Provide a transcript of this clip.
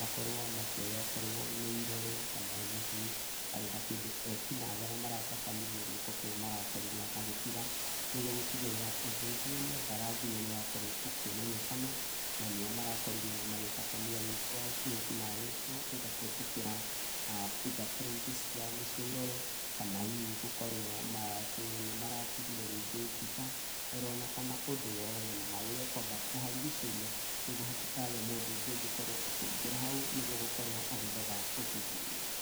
makorwo makĩoya okorwo nĩ irore kana hihi harĩ na kĩndu ekinaĩ arĩa maratabanirie gĩko kĩu marakorirwo magĩtiga. Nĩguo gũtigĩrĩra ũthuthuria mbaranginyo nĩwakorwo ũkĩmenyekana na nĩya marakorirwo magĩtabania wĩkinaĩ ũcio either kũhĩtũkĩra fingerprint ciao, nicio irore kana hihi gũkorwo nĩmaratigire rĩngĩ mbica, oro ona kana ũndũ o wothe. Namagĩrĩire nĩ kwamba kũharigicĩria nĩguo hatikagĩe mũndũ ũngĩ ũngĩkorwo ũkĩingĩra hau nĩguo gũkorwo agĩthoga ũthuthuria.